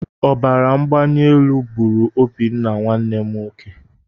Ọbaramgbalielu gburu Obinna my brother.